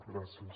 gràcies